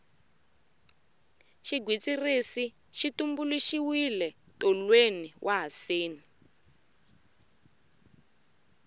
xigwitsirisi xi tumbuluxiwe tolweni wa haseni